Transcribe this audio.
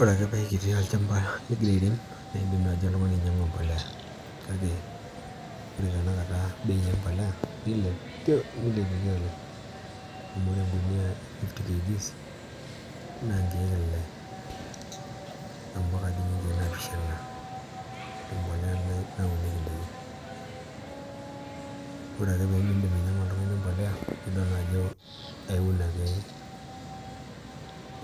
Ore ake paiti olchamba ligira airem naa in'dim nai oltung'ani ainyang'u embolea kake ore tenekata bei embolea nilepieki oleng amu ore engunuyia e 50kg naa inkiek ile ombaka dii ninye nkiek naapishana embolea nai nauniek in'daiki Orake piimin'dim oltung'ani ainyang'u imbolea nidol naa ajo eun ake